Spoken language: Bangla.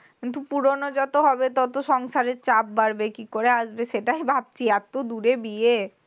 কিন্তু পুরনো যত হবে ততো সংসারের চাপ বাড়বে। কি করে আসবে সেটাই ভাবছি? এতদূরে বিয়ে।